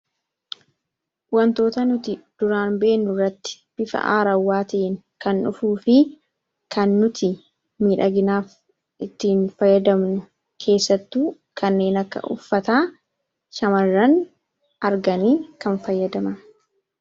wantoota nuti duraan beennu rratti bifa aarawwaati'in kan dhufuu fi kan nuti miidhaginaaf ittiin fayyadamnu keessattuu kanneen akka uffataa shamar'an arganii kan fayyadama